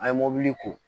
An ye mobili ko